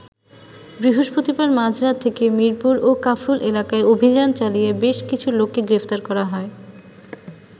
বৃহস্পতিবার মাঝরাত থেকে মিরপুর ও কাফরুল এলাকায় অভিযান চালিয়ে বেশ কিছু লোককে গ্রেফতার করা হয়।